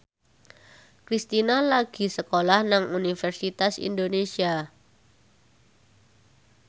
Kristina lagi sekolah nang Universitas Indonesia